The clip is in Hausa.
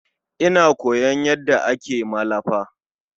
Ina koyon yanda ake yin malafa.